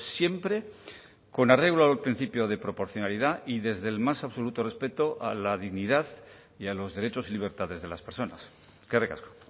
siempre con arreglo al principio de proporcionalidad y desde el más absoluto respeto a la dignidad y a los derechos y libertades de las personas eskerrik asko